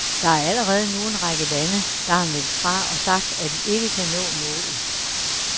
Der er allerede nu en række lande, der har meldt fra og sagt, at de ikke kan nå målet.